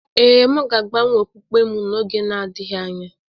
Ee, m ga-agbanwe okpukpe m n’oge na-adịghị anya